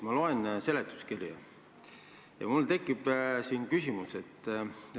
Ma loen seletuskirja ja mul tekib küsimus.